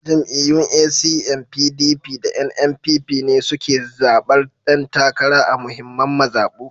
Jam’iyyun ACN, PDP, da NNPP ne suke zaɓar ƴan takara a muhimman mazaɓu